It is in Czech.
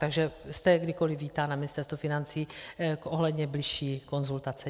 Takže jste kdykoli vítán na Ministerstvu financí ohledně bližší konzultace.